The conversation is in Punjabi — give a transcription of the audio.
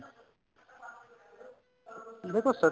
ਹੁਣ ਦੇਖੋ